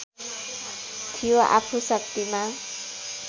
थियो आफू शक्तिमा